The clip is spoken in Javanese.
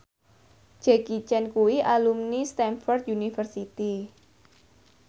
Jackie Chan kuwi alumni Stamford University